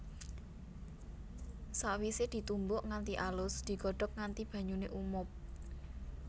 Sakwisé ditumbuk nganti alus digodhog nganti banyuné umob